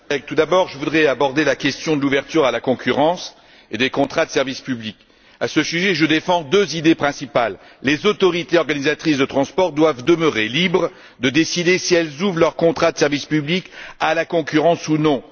Monsieur le Président, tout d'abord je voudrais aborder la question de l'ouverture à la concurrence et des contrats de service public. À ce sujet, je défends deux idées principales premièrement, les autorités organisatrices de transport doivent demeurer libres de décider si elles ouvrent leurs contrats de service public à la concurrence ou non